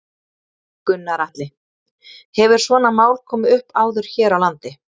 Gunnar Atli: Hefur svona mál komið upp áður hér á landi?